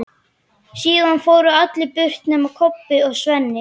Síðan fóru allir burt nema Kobbi og Svenni.